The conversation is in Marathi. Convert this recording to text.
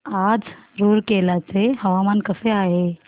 आज रूरकेला चे हवामान कसे आहे